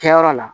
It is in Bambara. Kɛyɔrɔ la